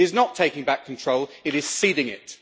It is not taking back control, it is ceding it.